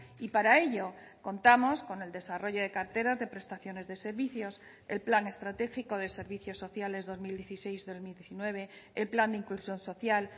y para ello contamos con el desarrollo de carteras de prestaciones de servicios el plan estratégico de servicios sociales dos mil dieciséis dos mil diecinueve el plan de inclusión social